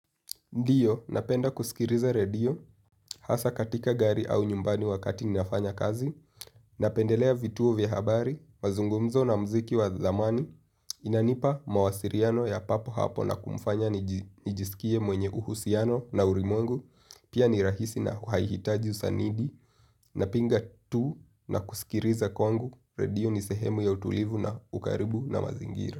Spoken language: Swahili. Ndiyo, napenda kusikiliza radio, hasa katika gari au nyumbani wakati ninafanya kazi, napendelea vituo vya habari, mazungumzo na mziki wa zamani, inanipa mawasiliano ya papo hapo na kumfanya nijisikie mwenye uhusiano na ulimwengu, pia ni rahisi na haihitaji usanidi, napinga tu na kusikiliza kwangu, radio ni sehemu ya utulivu na ukaribu na mazingira.